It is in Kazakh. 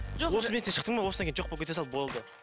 сен шықтың ба осыдан кейін жоқ болып кете сал болды